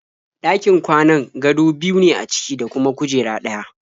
Ɗakin kwanan gado biyu ne a ciki da kuma kujera ɗaya.